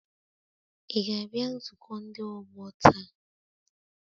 Ị ga-abịa nzukọ ndị ọgbọ taa?